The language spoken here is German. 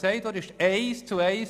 Das andere ist eins zu eins.